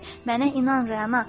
Mənə inan, Rəna.